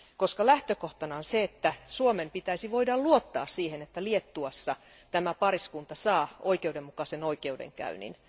Koska lähtökohtana on se, että Suomen pitäisi voida luottaa siihen, että Liettuassa tämä pariskunta saa oikeudenmukaisen oikeudenkäynnin.